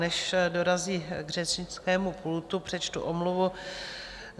Než dorazí k řečnickému pultu, přečtu omluvu.